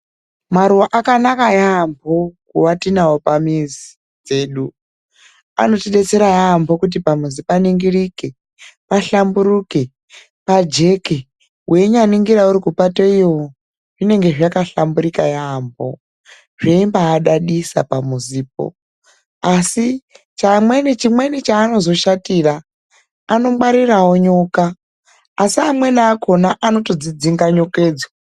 Maruwa akanaka yaamho kuwa tinawo pamizi dzedu. Anotidetsera yaamho kuti pamuzi paningirike, pahlamburike, pajeke, weinyaningira uri kupato iyoo zvinenge zvakambaahlamburika yamhpo, zveimbadadisa pamuzipo. Asi chimweni chaanozoshatira, anongwarirawo nyoka. Asi amweni akona anotodzidzinga nyokedzo.